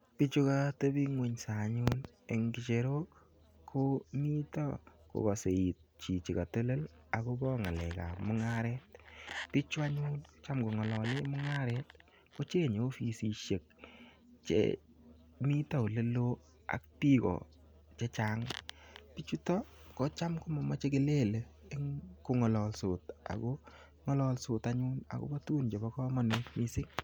Pichu kateping'unsa anyun eng' ng'echerok ko mita kokase iit chichi katelel akopa ng'alek ap mung'aret. Pichu anyun cham kong'alale mung'aret kocheng'e ofisishek che mita ole ak piko che chang'. Pichutok ko cham ko mamache kelele kong'alalados ako ng'alaldos anyun akopa tugun chepo kamanut missing'.